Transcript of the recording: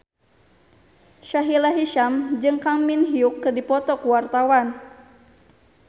Sahila Hisyam jeung Kang Min Hyuk keur dipoto ku wartawan